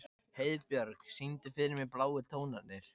Heiðbjörk, syngdu fyrir mig „Bláu tónarnir“.